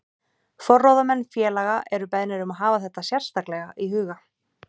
Forráðamenn félaga eru beðnir um að hafa þetta sérstaklega í huga.